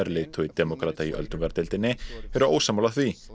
leiðtogi demókrata í öldungadeildinni eru ósammála því